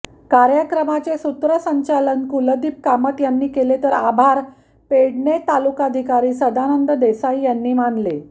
कार्यक्रमाचे सूत्रसंचालन कुलदीप कामत यांनी केले तर आभार पेडणे तालुकाधिकारी संदानंद देसाई यांनी मानले